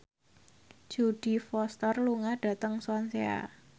Jodie Foster lunga dhateng Swansea